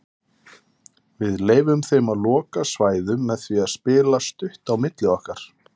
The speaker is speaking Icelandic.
Við leyfðum þeim að loka svæðum með því að spila stutt á milli okkar.